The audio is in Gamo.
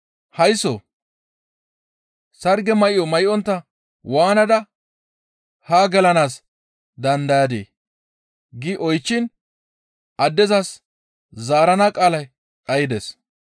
‹Haysso! Sarge may7o may7ontta waanada haa gelanaas dandayadii?› gi oychchiin addezas zaarana qaalay dhaydes.